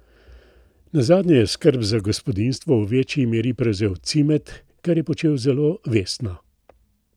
Nazadnje je skrb za gospodinjstvo v večji meri prevzel Cimet, kar je počel zelo vestno.